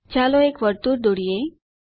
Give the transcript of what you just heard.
ચાલો એક વર્તુળ દોરીએ